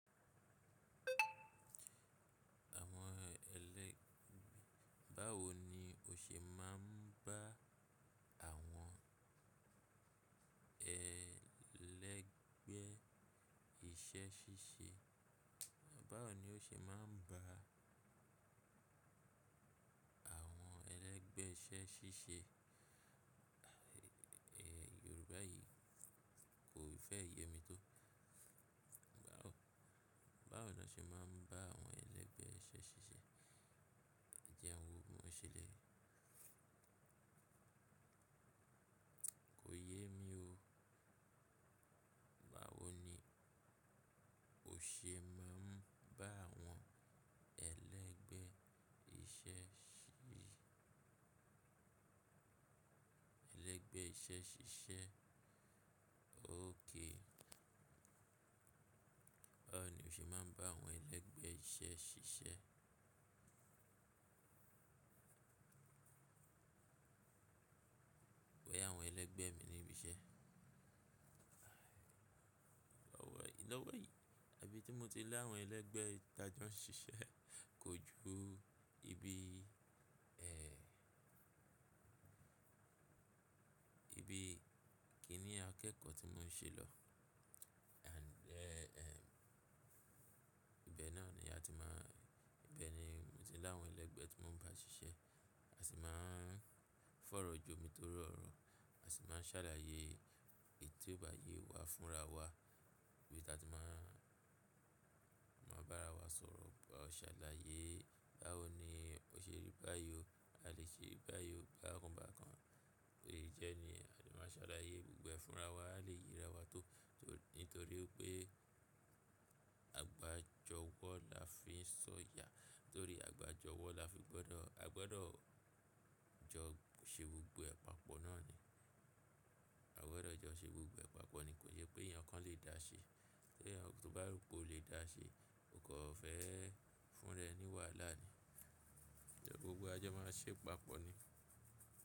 Àwọn ẹlẹ́gbẹ̀ẹ́, báwo ni o ṣe máa ń bá àwọn ẹlẹ́gbẹ̀ẹ́ iṣẹ́ ṣíṣe? Báwo ni o ṣe máa ń bá àwọn ẹlẹ́gbẹ̀ẹ́ iṣẹ́ ṣíṣe? Yorùbá yìí kò fẹ́ yé mi tó. Báwo, báwo ni o ṣe máa ń bá àwọn ẹlẹ́gbẹ̀ẹ́ iṣẹ́ ṣíṣe? Ẹ jẹun, mo ṣẹlẹ̀. Kò yé mi o. Báwo ni o ṣe máa ń bá àwọn ẹlẹ́gbẹ̀ẹ́ iṣẹ́ ṣíṣe? Ẹlẹ́gbẹ̀ẹ́ iṣẹ́ ṣíṣe? Okay. Báwo ni o ṣe máa ń bá àwọn ẹlẹ́gbẹ̀ẹ́ iṣẹ́ ṣíṣe? Pe, àwọn ẹlẹ́gbẹ̀ẹ́ mi ni ibi iṣẹ́. Òwe, iná wẹ̀ yìí, ibi tí mo ti lè àwọn ẹlẹ́gbẹ̀ẹ́ ti àjọ ń ṣiṣẹ́ kò ju ibi, ẹ, ibi kí nì akẹ́kọ̀ọ́ tí mò ń ṣe lọ. And ẹ, ẹ, ibẹ̀ náà ni a ti máa, ibẹ̀ ni mo ti lè àwọn ẹlẹ́gbẹ̀ẹ́ tí mò ń bá ṣiṣẹ́. A sì máa ń fọ̀rọ̀ jọ mi torí ọ̀rọ̀. A sì máa ń ṣàlàyé ètò ìbá yẹ wá fúnra wa bí a ti máa, máa bá ara wa sọ̀rọ̀. Ọ ṣàlàyé báwo ni ó ṣe rí báyìí o. A lè ṣe báyìí o bákan bákan. Ó yẹ jẹ́ ni a lè máa ṣàlàyé gbogbo ẹ̀ fúnra wa. A lè yera wa tó, tó nítorí pé àgbà jọ wọ́ la fi ń sọ̀yà. Torí àgbà jọ wọ́ la fi gbọ́dọ̀, a gbọ́dọ̀ jọ ṣe gbogbo àpapọ̀ náà ni. A gbọ́dọ̀ jọ ṣe gbogbo ẹ papọ̀ ni. Kò yẹ pé èèyàn kan lè da ṣe. Tí èèyàn kan bá ro pé ò lè da ṣe, ò kọ̀ fẹ́ fún ará ẹ ní wàhálà ni. Ṣé gbogbo ajọ máa ṣe pàpọ̀ ni?